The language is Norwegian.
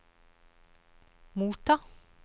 motta